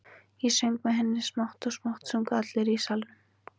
Ég söng með henni og smátt og smátt sungu allir í salnum.